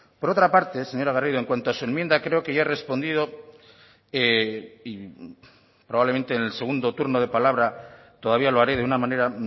por otra parte señora garrido en cuanto a su enmienda creo que ya he respondido y probablemente en el segundo turno de palabra todavía lo haré de una manera